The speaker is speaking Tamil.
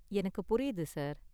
எனக்கு புரியுது சார்.